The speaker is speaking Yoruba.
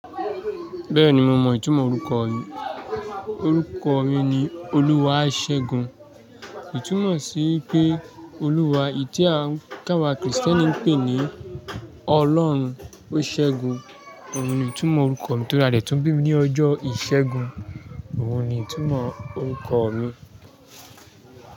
Bẹ́ẹ̀ni mo mọ ìtumọ̀ orúkọ mi. Orúkọ mi ni Oluwasẹ́gun. Ìtumọ̀ sí pé Olúwa tí àwa Kristẹni ń pè ní Ọlọ́run ó ṣẹ́gun. Òun ni ìtumọ̀ orúkọ mi torí a dẹ̀ tún bí mi ní ọjọ́ ìṣẹ́gun. Òun ni ìtumọ̀ orúkọ mi.